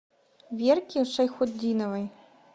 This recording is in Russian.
верке шайхутдиновой